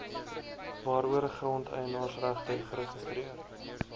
waaroor grondeienaarsregte geregistreer